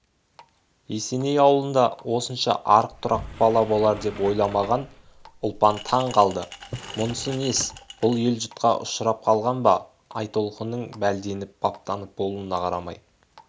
есеней ауылында осынша арық-тұрақ бала болар деп ойламаған ұлпан таң қалды мұнысы несі бұл ел жұтқа ұшырап қалған ба айтолқынның бәлденіп баптанып болуына қарамай